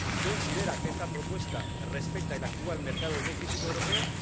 ¿Considera que esta propuesta respeta el actual mercado energético europeo?